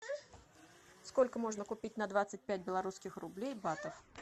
сколько можно купить на двадцать пять белорусских рублей батов